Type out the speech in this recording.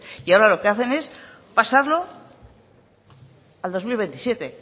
y ahora lo que hacen es pasarlo a dos mil veintisiete